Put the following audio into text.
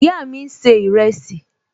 Ìyá mi n ṣe ìrẹsì